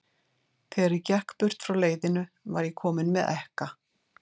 Þegar ég gekk burt frá leiðinu, var ég kominn með ekka.